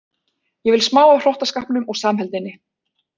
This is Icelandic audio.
Ég vil smá af hrottaskapnum og samheldninni.